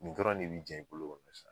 Nin dɔrɔn de bi jɛn i bolo sa